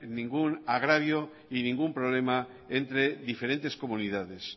ningún agravio y ningún problema entre diferentes comunidades